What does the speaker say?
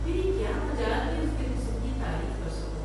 میری کیا مجال کہ اس کے حسن کی تعریف کرسکوں ۔